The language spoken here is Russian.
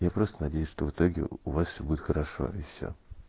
я просто надеюсь что в итоге у вас всё будет хорошо и всё